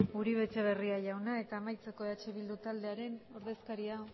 uribe etxebarria jauna eta amaitzeko eh bildu taldearen ordezkaria